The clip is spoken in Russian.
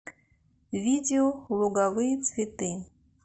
видео луговые цветы